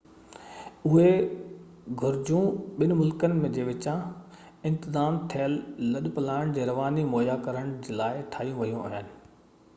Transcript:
اهي گهرجون ٻن ملڪن جي وچان انتظام ٿيل لڏپلاڻ جي رواني مهيا ڪرڻ جي لاءِ ٺاهيون ويون آهي